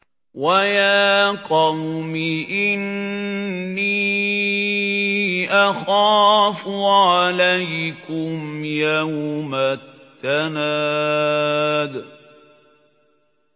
وَيَا قَوْمِ إِنِّي أَخَافُ عَلَيْكُمْ يَوْمَ التَّنَادِ